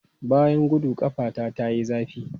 Bayan gudu, ƙafata ta yi zafi.